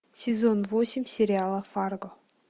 сезон восемь сериала фарго